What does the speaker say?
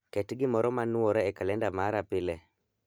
Ket gimoro ma nwore e kalenda ma pile.